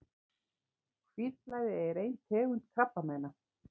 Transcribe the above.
Hvítblæði er ein tegund krabbameina.